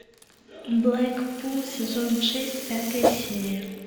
блэкпул сезон шесть пятая серия